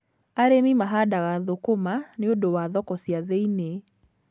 Arĩmi mahandaga thũkũma nĩ ũndũ wa thoko cia thĩiniĩ.